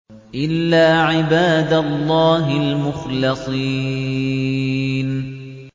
إِلَّا عِبَادَ اللَّهِ الْمُخْلَصِينَ